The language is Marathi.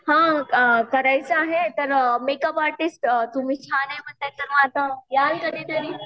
हां करायचं आहे तर मेकअप आर्टिस्ट तुम्ही छान आहे म्हणताय तर माझं याल